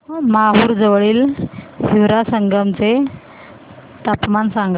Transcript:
माहूर जवळील हिवरा संगम चे तापमान सांगा